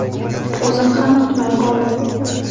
O‘zim ham kutmay qoldim.